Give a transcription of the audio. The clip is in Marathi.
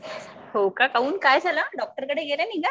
हो का काऊन काय झालं डॉक्टर कडे गेले नाही का?